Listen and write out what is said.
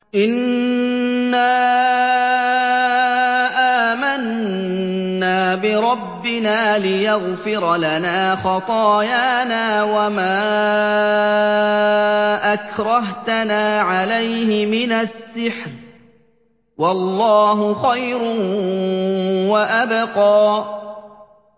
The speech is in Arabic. إِنَّا آمَنَّا بِرَبِّنَا لِيَغْفِرَ لَنَا خَطَايَانَا وَمَا أَكْرَهْتَنَا عَلَيْهِ مِنَ السِّحْرِ ۗ وَاللَّهُ خَيْرٌ وَأَبْقَىٰ